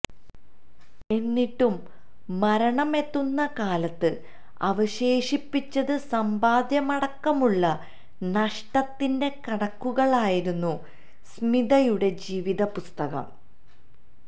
എന്നിട്ടും മരണം എത്തുന്ന കാലത്ത് അവശേഷിപ്പിച്ചത് സമ്പാദ്യമടക്കമുള്ള നഷ്ടത്തിന്റെ കണക്കുകളായിരുന്നു സ്മിതയുടെ ജീവിതപുസ്തകം